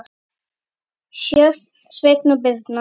Sjöfn, Sveinn og Birna.